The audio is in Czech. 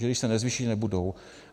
Že když se nezvýší, nebudou.